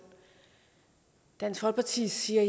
dansk folkeparti siger